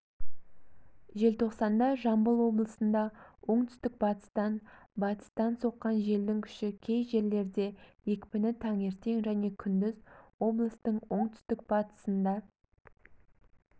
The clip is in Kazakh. желтоқсанда жамбыл облысында оңтүстік-батыстан батыстан соққан желдің күші кей жерлерде екпіні таңертең және күндіз облыстың оңтүстік-батысында